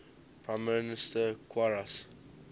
prime minister qarase